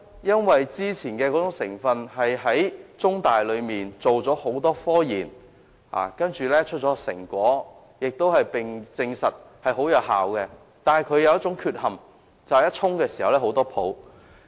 因為雖然先前採用的成分經香港中文大學多番進行研究，得出成果，證實效果良好，卻有一個缺點，就是沖泡時產生很多泡沫。